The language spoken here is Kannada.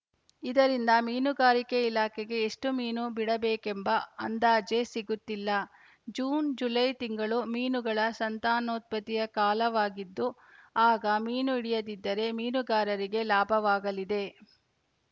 ಇದರಿಂದ ಮೀನುಗಾರಿಕೆ ಇಲಾಖೆಗೆ ಎಷ್ಟುಮೀನು ಬಿಡಬೇಕೆಂಬ ಅಂದಾಜೇ ಸಿಗುತ್ತಿಲ್ಲ ಜೂನ್‌ ಜುಲೈ ತಿಂಗಳು ಮೀನುಗಳ ಸಂತಾನೋತ್ಪತ್ತಿಯ ಕಾಲವಾಗಿದ್ದು ಆಗ ಮೀನು ಹಿಡಿಯದಿದ್ದರೆ ಮೀನುಗಾರರಿಗೇ ಲಾಭವಾಗಲಿದೆ